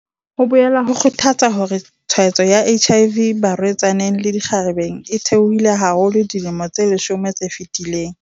Ho boela ho kgothatsa hore tshwaetso ya HIV barwe-tsaneng le dikgarebe e theohile haholo dilemong tse leshome tse fetileng.